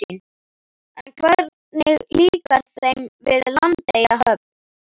En hvernig líkar þeim við Landeyjahöfn?